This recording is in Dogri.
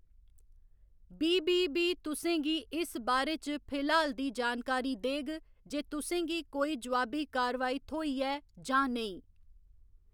बी. बी. बी. तु'सें गी इस बारे च फिलहाल दी जानकारी देग जे तु'सें गी कोई जोआबी कारवाई थ्होई ऐ जां नेईं।